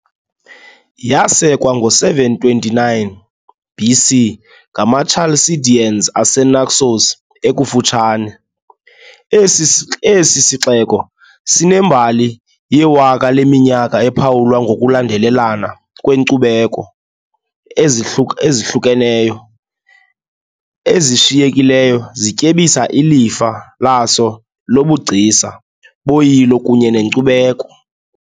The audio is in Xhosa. Yasekwa ngo-729 BC ngamaChalcideans aseNaxos ekufutshane, esi sixeko sinembali yewaka leminyaka ephawulwa ngokulandelelana kweenkcubeko ezihlukeneyo ezishiyekileyo zityebisa ilifa laso lobugcisa, boyilo kunye nenkcubeko .